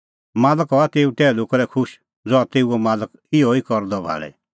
मालक हआ तेऊ टैहलू करै खुश ज़हा तेऊओ मालक इहअ ई करदै भाल़े